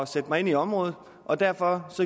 sætte mig ind i området og derfor